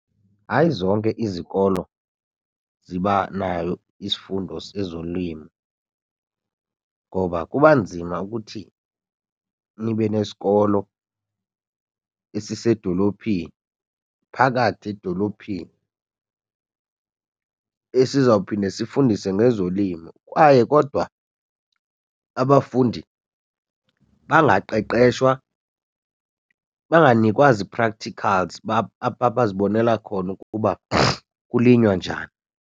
Hayi, zonke izikolo ziba nayo isifundo sezolimo ngoba kuba nzima ukuthi nibe nesikolo esisedolophini, phakathi edolophini esizawuphinde sifundise ngezolimo, kwaye kodwa abafundi bangaqeqeshwa banganikwa zii-practicals abazibonela khona ukuba kulinywa njani.